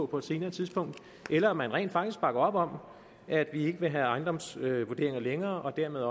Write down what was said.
på et senere tidspunkt eller om man rent faktisk bakker op om at vi ikke vil have ejendomsvurderinger længere og dermed